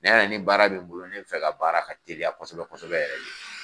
Ni y'a ye ni baara bɛ n bolo ne fɛ ka baara ka teliya kosɛbɛ kosɛbɛ yɛrɛ ye